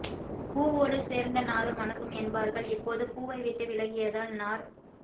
பூவோடு சேர்ந்தநாரும் மணக்கும் என்பார்கள் இப்போது பூவை விட்டு விலகியதால் நார்